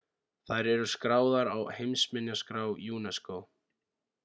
þær eru skráðar á heimsminjaskrá unesco